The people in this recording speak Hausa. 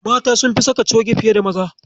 Mata sunfi saka coge fiye da Maza.